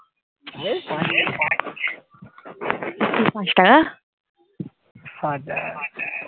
পাঁচ টাকা পাঁচ টাকা